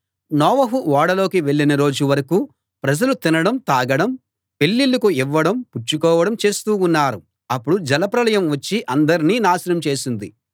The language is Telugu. నోవహు ఓడలోకి వెళ్ళిన రోజు వరకూ ప్రజలు తినడం తాగడం పెళ్ళిళ్ళకు ఇవ్వడం పుచ్చుకోవడం చేస్తూ ఉన్నారు అప్పుడు జలప్రళయం వచ్చి అందర్నీ నాశనం చేసింది